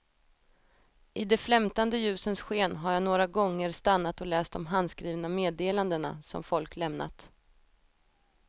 I de flämtande ljusens sken har jag några gånger stannat och läst de handskrivna meddelandena som folk lämnat.